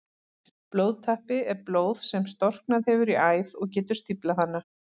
Blóðtappi er blóð sem storknað hefur í æð og getur stíflað hana.